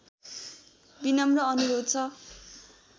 विनम्र अनुरोध छ